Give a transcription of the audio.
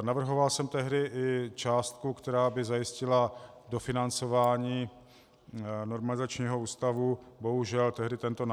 Navrhoval jsem tehdy i částku, která by zajistila dofinancování normalizačního ústavu, bohužel, tehdy tento